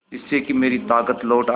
जिससे कि मेरी ताकत लौट आये